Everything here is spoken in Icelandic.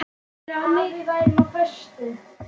Starir á mig.